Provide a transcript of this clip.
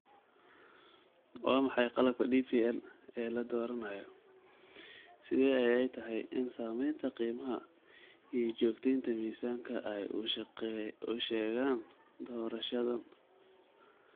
Waa maxay qalabka DPL ee la dooranayo? Sidee ayay tahay in saamaynta qiimaha iyo joogteynta miisaanka ay u sheegaan doorashadan?